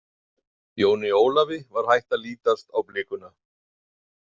Jóni Ólafi var hætt að lítast á blikuna.